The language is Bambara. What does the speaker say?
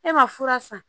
E ma fura san